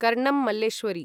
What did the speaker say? Karnam Malleswari